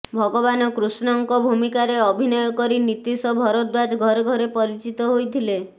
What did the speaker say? ଭଗବାନ କୃଷ୍ଣଙ୍କ ଭୂମିକାରେ ଅଭିନୟ କରି ନୀତିଶ ଭରଦ୍ୱାଜ ଘରେ ଘରେ ପରିଚିତ ହୋଇଥିଲେ